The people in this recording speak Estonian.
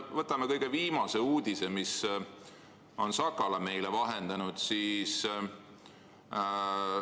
Võtame kõige viimase uudise, mille on meile vahendanud Sakala.